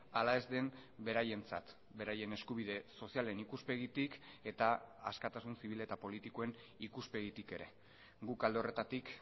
ala ez den beraientzat beraien eskubide sozialen ikuspegitik eta askatasun zibil eta politikoen ikuspegitik ere guk alde horretatik